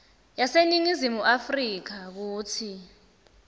yaseningizimu afrika kutsi